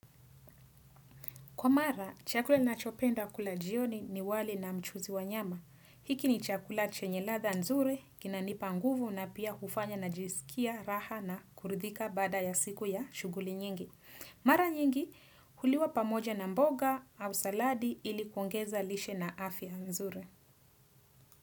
Kwa mara, chakula ninachopenda kula jioni ni wali na mchuzi wa nyama. Hiki ni chakula chenye ladhaa nzuri, kinanipa nguvu na pia hufanya najisikia raha na kuridhika baada ya siku ya shughuli nyingi. Mara nyingi, huliwa pamoja na mboga au saladi ili kuongeza lishe na afya nzuri.